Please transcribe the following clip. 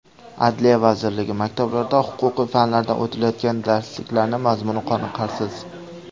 Adliya vazirligi: Maktablarda huquqiy fanlardan o‘tilayotgan darsliklarning mazmuni qoniqarsiz.